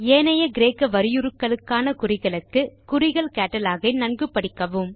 ஏனைய கிரேக்க வரியுருக்களுக்கான குறிகளுக்கு குறிகள் கேட்டலாக் ஐ நன்கு படிக்கவும்